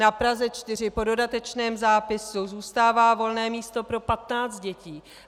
Na Praze 4 po dodatečném zápisu zůstává volné místo pro 15 dětí.